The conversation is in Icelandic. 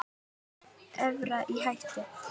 Evran í hættu?